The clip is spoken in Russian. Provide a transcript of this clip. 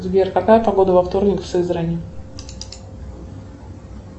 сбер какая погода во вторник в сызрани